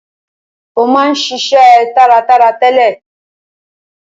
Ó ma ń ṣiṣe taratara tẹ́lẹ̀.